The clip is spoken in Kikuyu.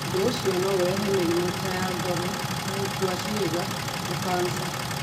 Ũndũ ũcio no ũrehe mĩrimũ ta ya ngoro, ya wa gũkua ciĩga na kansa.